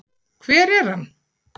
hver er hann?